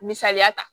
Misaliya ta